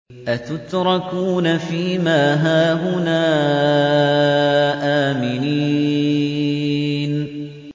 أَتُتْرَكُونَ فِي مَا هَاهُنَا آمِنِينَ